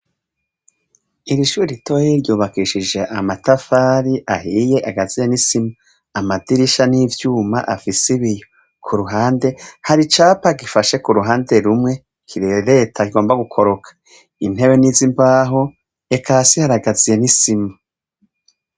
Iri shure ritoya ryubakishije amatafari ahiye agaziye n'isima, amadirisha ni ivyuma afise ibiyo, ku ruhande hari icapa gifashe ku ruhande rumwe kirereta kigomba gukoroka; intebe ni iz'imbaho, eka hasi haragaziye n'isima.